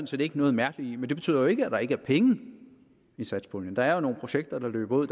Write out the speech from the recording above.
set ikke noget mærkeligt i men det betyder jo ikke at der ikke er penge i satspuljen der er nogle projekter der løber ud